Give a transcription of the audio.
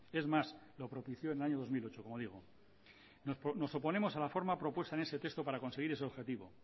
es más lo propicio en el año dos mil ocho como digo nos oponemos a la forma propuesta en ese texto para conseguir ese objetivo